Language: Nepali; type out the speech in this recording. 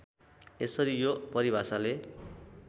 यसरी यो परिभाषाले